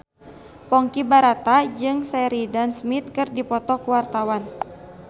Ponky Brata jeung Sheridan Smith keur dipoto ku wartawan